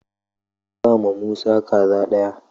Ka bama Musa kaza ɗaya!